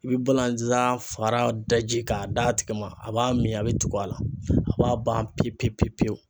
I be balanzan faga daji ka d'a tigi ma, a b'a mi a be tugu a la, a b'a ban pewu pewu pewu pewu.